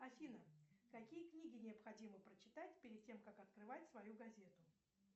афина какие книги необходимо прочитать перед тем как открывать свою газету